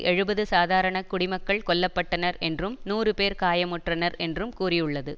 எழுபது சாதாரண குடிமக்கள் கொல்ல பட்டனர் என்றும் நூறு பேர் காயமுற்றனர் என்றும் கூறியுள்ளது